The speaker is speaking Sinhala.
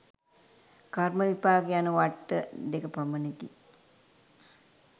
කර්ම, විපාක යන වට්ට දෙක පමණකි.